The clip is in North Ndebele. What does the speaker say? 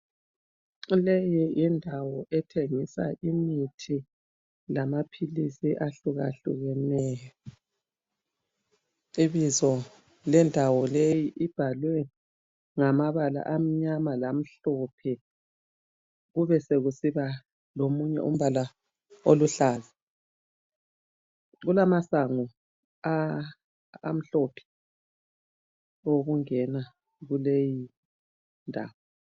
Leyi yindawo ethengisa imithi lamaphilisi ahlukahlukeneyo, ibizo lendawo leyi libhalwe ngamabala amnyama lamhlophe kube sokusiba lomunye umbala oluhlaza kulamasango amhlophe owokungena kuleyi ndawo.